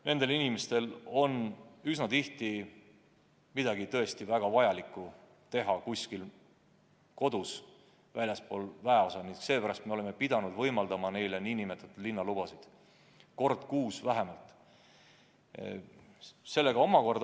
Nendel inimestel on üsna tihti midagi tõesti vaja väga teha väljaspool väeosa ning seepärast me oleme pidanud võimaldama neile nn linnalubasid vähemalt kord kuus.